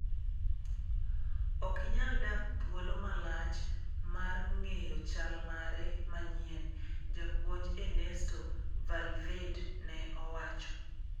"Okinyal dak thuolo malach mar ng'eyo chal mare manyien", japuonj Ernesto Valverde ne owacho.